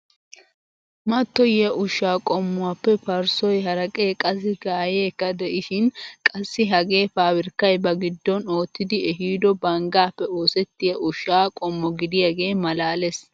Mattoyiyaa ushshaa qommuwaappe parssoy, haraqee, qassi gayiyeekka de'esishin qassi hagee pabirkkay ba giddon oottidi eehido banggaappe osettiyaa ushshaa qommo gidiyaagee malaales!